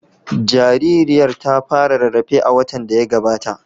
Jaririyar ta fara rarrafe a watan da ya gabata.